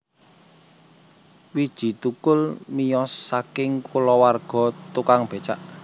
Widji Thukul miyos saking kulawarga tukang becak